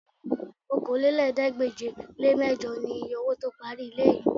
Okòólélẹ́ẹ̀ẹ́dégbèje-le-mẹ́jọ niye owó tó parí ilé yìí